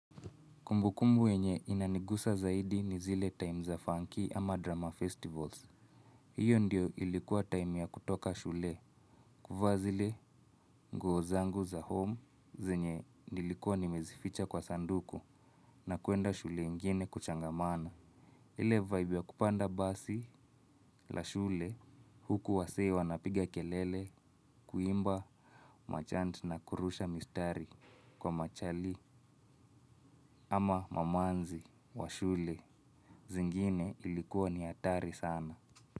Kumbukumbu wenye inanigusa zaidi ni zile time za funky ama drama festivals. Hiyo ndio ilikuwa time ya kutoka shule. Kuvaa zile nguo zangu za home zenye nilikuwa nimezificha kwa sanduku na kuenda shule ingine kuchangamana. Ile vibe ya kupanda basi la shule huku wasee wanapiga kelele kuimba machant na kurusha mistari kwa machali ama mamanzi wa shule. Zingine ilikuwa ni hatari sana.